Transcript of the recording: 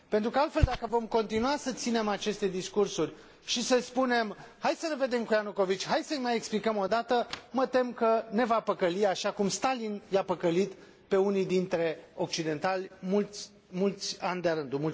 Pentru că altfel, dacă vom continua să ținem aceste discursuri și să spunem hai să ne vedem cu Ianukovici, hai să îi mai explicăm o dată, mă tem că ne va păcăli, așa cum Stalin i a păcălit pe unii dintre occidentali mulți, mulți ani de a rândul.